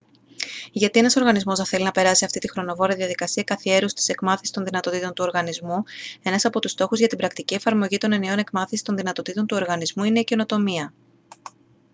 γιατί ένας οργανισμός να θέλει να περάσει αυτήν τη χρονοβόρα διαδικασία καθιέρωσης της εκμάθησης των δυνατοτήτων του οργανισμού ένας από τους στόχους για την πρακτική εφαρμογή των εννοιών εκμάθησης των δυνατοτήτων του οργανισμού είναι η καινοτομία